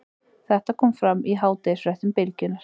Þetta kom fram í hádegisfréttum Bylgjunnar